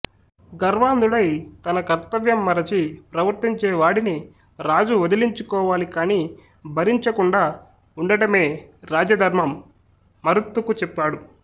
గర్వాంధుడై తన కర్తవ్యం మరచి ప్రవర్తించే వాడిని రాజు వదిలించుకోవాలి కాని భరించ కండా ఉండటమే రాజధర్మం మరుత్తుకు చెప్పాడు